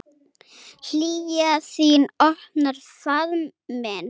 Hlýja þín opnar faðm minn.